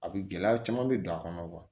A bɛ gɛlɛya caman bɛ don a kɔnɔ